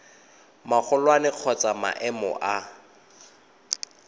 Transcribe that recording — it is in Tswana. magolwane kgotsa wa maemo a